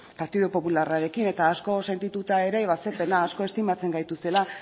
partidu popularrarekin eta asko sentituta ere ba ze pena asko estimatzen gaituztela